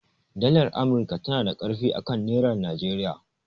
Dalar amurka tanada ƙarfi akan nerar Nigeria